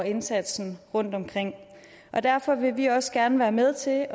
indsatsen rundtomkring og derfor vil vi også gerne være med til at